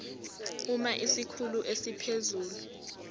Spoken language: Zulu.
uma isikhulu esiphezulu